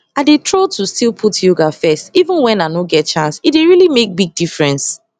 i dey tro to still put yoga first even wen i nor get chance e dey really make big difference